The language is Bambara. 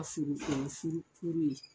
A furu furu furu furu.